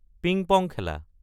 ping pong খেলা